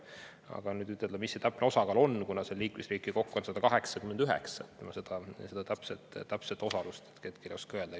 Aga seda täpset osalust, mis see täpne osakaal on, kuna seal liikmesriike kokku on 189, ma hetkel ei oska öelda.